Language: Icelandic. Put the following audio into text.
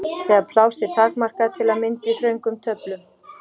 Þegar pláss er takmarkað, til að mynda í þröngum töflum.